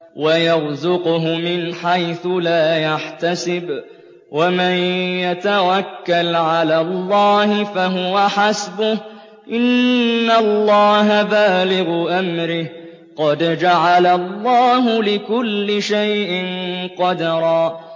وَيَرْزُقْهُ مِنْ حَيْثُ لَا يَحْتَسِبُ ۚ وَمَن يَتَوَكَّلْ عَلَى اللَّهِ فَهُوَ حَسْبُهُ ۚ إِنَّ اللَّهَ بَالِغُ أَمْرِهِ ۚ قَدْ جَعَلَ اللَّهُ لِكُلِّ شَيْءٍ قَدْرًا